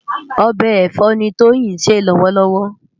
Òbè ẹfọ ni Toyin nsé lòwòlòwò